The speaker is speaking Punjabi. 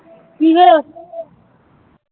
ਕਿ ਹੋਇਆ